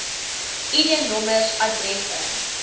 id nommers adresse